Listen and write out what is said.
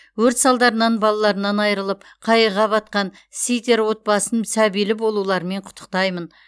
өрт салдарынан балаларынан айырылып қайғыға батқан ситер отбасын сәбилі болуларымен құттықтаймын